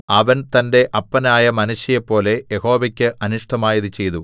അവൻ തന്റെ അപ്പനായ മനശ്ശെയെപ്പോലെ യഹോവയ്ക്ക് അനിഷ്ടമായത് ചെയ്തു